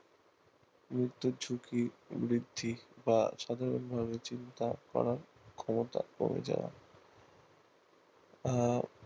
গুরুত্ব ঝুঁকি বৃদ্ধি বা সাধারণ চিন্তা ধারা ক্ষমতা রোযা যায় আহ